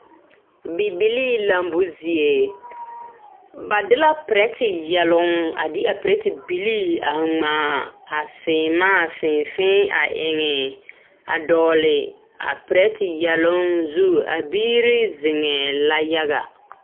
Bibilii lambo zie ba de la perɛte yɛloŋ a de a perɛte bilii a ŋmaa a seemaa fēē fēē a eŋe a dɔgle a perɛte yɛloŋ zu a biiri zeŋɛɛ la yaga.